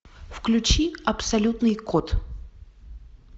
включи абсолютный код